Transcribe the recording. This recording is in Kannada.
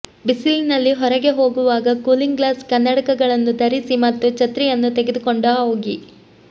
ಬಿಸಿಲಿನಲ್ಲಿ ಹೊರಗೆ ಹೋಗುವಾಗ ಕೂಲಿಂಗ್ ಗ್ಲಾಸ್ ಕನ್ನಡಕಗಳನ್ನು ಧರಿಸಿ ಮತ್ತು ಛತ್ರಿಯನ್ನು ತೆಗೆದುಕೊಂಡ ಹೋಗಿ